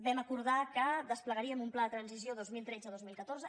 vam acordar que desplegaríem un pla de transició dos mil tretze dos mil catorze